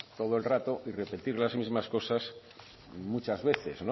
todo el rato y repetir las mismas cosas muchas veces